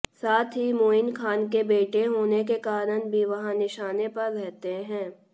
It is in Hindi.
साथ ही मोइन खान के बेटे होने के कारण भी वह निशाने पर रहते हैं